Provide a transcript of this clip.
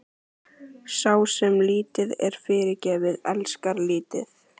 Sá, sem lítið er fyrirgefið, elskar lítið.